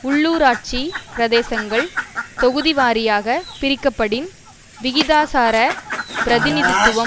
உள்ளூராட்சி பிரதேசங்கள் தொகுதிவாரியாக பிரிக்கப்படின் விகிதாசார பிரதிநிதித்துவம்